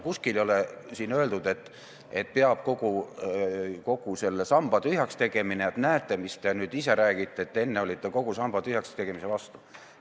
Kuskil ei ole siin öeldud, et peab kogu samba tühjaks tegema – et näete, mis te nüüd ise räägite, enne olite kogu samba tühjaks tegemise vastu.